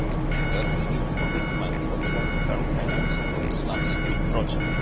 Even with ITER, we need commitment for the long term financing of this large scale project.